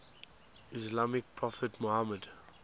islamic prophet muhammad